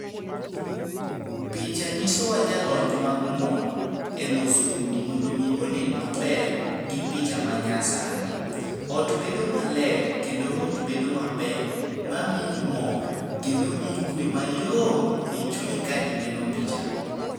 Picha nyiso wa jalony mang'uon e loso udi mondo mi onen maber gi picha ma nyasani. Ot bedo maler kendo ot bedo maber ma miyo mor kendo miyi kwe mayom e chunyi ka ineno picha go.